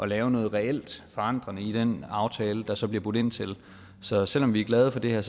lave noget reelt forandrende i den aftale der så bliver budt ind til så selv om vi er glade for det her